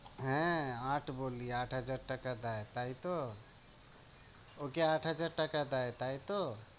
হ্যাঁ, আট বললি, আট হাজার টাকা দেয় তাই তো? ওকে আট হাজার টাকা দেয় তাই তো?